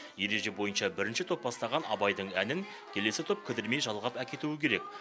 ереже бойынша бірінші топ бастаған абайдың әнін келесі топ кідірмей жалғап әкетуі керек